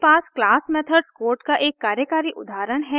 मेरे पास class methods code का एक कार्यकारी उदाहरण है